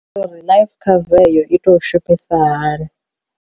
Life cover eyo i tou shumisa hani.